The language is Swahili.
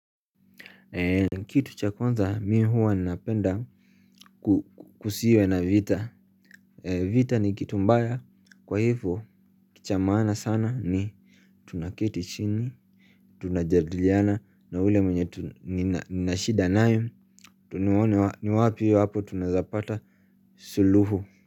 Kitu cha kwanza mi huwa napenda kusiwe na vita. Vita ni kitu mbaya kwaivo cha maana sana. Ni tunaketi chini tunajadiliana na ule mwenye nina shida naye nione ni wapi tunaeza pata suluhu.